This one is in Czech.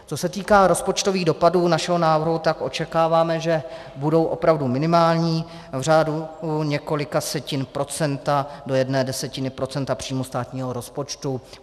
Co se týká rozpočtových dopadů našeho návrhu, tak očekáváme, že budou opravdu minimální, v řádu několika setin procenta do jedné desetiny procenta příjmů státního rozpočtu.